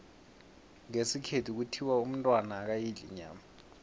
ngesikhethu kuthiwa umntwana akayidli inyama